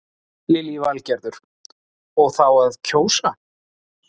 Lillý Valgerður: Og þá að kjósa?